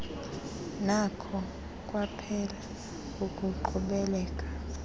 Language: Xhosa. nakho kwaphela ukuqhubeleka